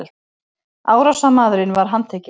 Árásarmaðurinn var handtekinn